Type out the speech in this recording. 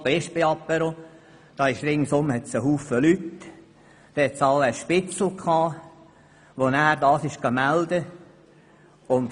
Bei diesem Apéro gab es wohl unter den umstehenden Leuten einen Spitzel, der das dann gemeldet hat.